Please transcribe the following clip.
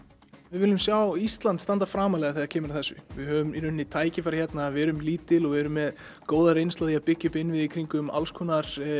við viljum sjá Ísland standa framarlega þegar kemur að þessu við höfum tækifæri hérna við erum lítil og erum með góða reynslu af því að byggja upp innviði í kringum alls konar